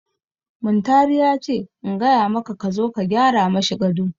Muntari ya ce in gaya maka ka zo ka gyara mashi gado.